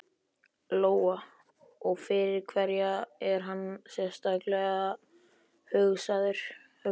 Lóa: Og fyrir hverja er hann sérstaklega hugsaður?